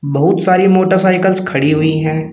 बहुत सारी मोटरसाइकिल्स खड़ी हुई हैं।